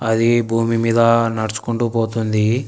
అదే భూమి మీద నడుచుకుంటూ పోతుంది.